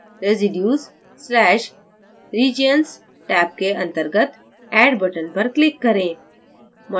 residues/regions tab के अंतर्गत add button पर click करें